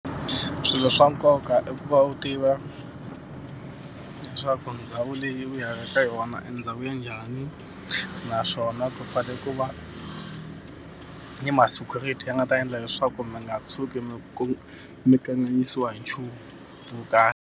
Swilo swa nkoka i ku va u tiva leswaku ndhawu leyi u yaka ka yona ndhawu ya njhani, naswona ku fanele ku va ni ma-security ya nga ta endla leswaku mi nga tshuki mi mi kanganyisiwi hi nchumu wo karhi.